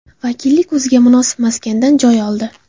Vakillik o‘ziga munosib maskandan joy oldi.